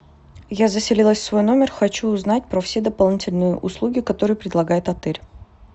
я заселилась в свой номер хочу узнать про все дополнительные услуги которые предлагает отель